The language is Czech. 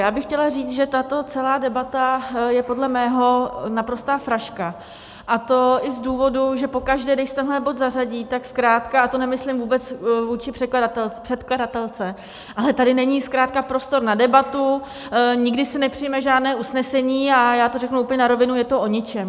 Já bych chtěla říct, že tato celá debata je podle mého naprostá fraška, a to i z důvodu, že pokaždé, když se tenhle bod zařadí, tak zkrátka, a to nemyslím vůbec vůči předkladatelce, ale tady není zkrátka prostor na debatu, nikdy se nepřijme žádné usnesení a já to řeknu úplně na rovinu: je to o ničem.